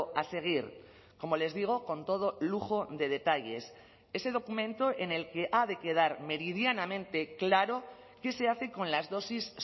a seguir como les digo con todo lujo de detalles ese documento en el que ha de quedar meridianamente claro qué se hace con las dosis